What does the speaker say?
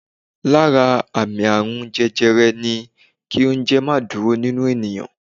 Lára àmì àrùn jẹjẹrẹ ni kí oúnjẹ má dúró nínú ènìyàn.